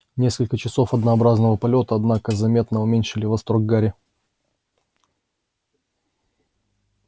несколько часов однообразного полёта однако заметно уменьшили восторг гарри